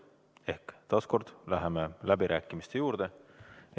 Ehk taas kord, läheme läbirääkimiste juurde.